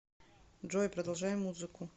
джой продолжай музыку